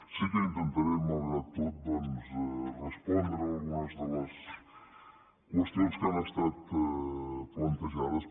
sí que intentaré malgrat tot doncs respondre algunes de les qüestions que han estat plantejades